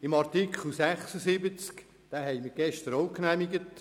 Den Artikel 76 haben wir gestern ebenfalls genehmigt: